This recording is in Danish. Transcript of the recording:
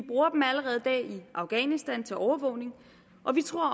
afghanistan til overvågning og vi tror